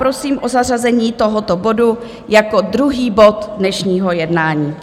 Prosím o zařazení tohoto bodu jako druhý bod dnešního jednání.